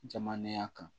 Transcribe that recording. Jamanenya kan